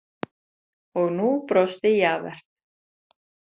Og nú brosti Javert.